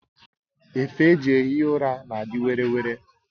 Efe eji ehi ụra na adị were were